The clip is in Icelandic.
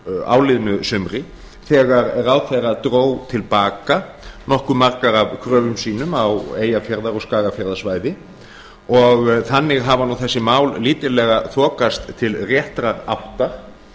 áliðnu sumri þegar ráðherrann dró til baka nokkuð margar af kröfum sínum á eyjafjarðar og skagafjarðarsvæði og þannig hafa nú þessi mál þokast lítillega til réttra átta